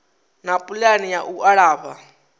na pulani ya u alafha